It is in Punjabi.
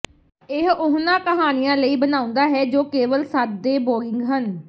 ਇਹ ਉਹਨਾਂ ਕਹਾਣੀਆਂ ਲਈ ਬਣਾਉਂਦਾ ਹੈ ਜੋ ਕੇਵਲ ਸਾਦੇ ਬੋਰਿੰਗ ਹਨ